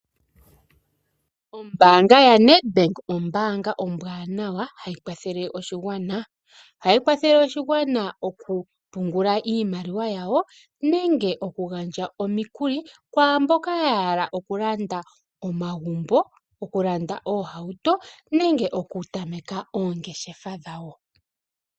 Ombaanga ya Ned bank , ombaanga ombwaanawa hayi kwathele oshigwana. Ohayi kwathele oshigwana okupungula iimaliwa yawo nenge okuyandja omikuli kwaamboka yahala okulanda omagumbo, okulanda oohauto nenge okutameka oongeshefa dhawo.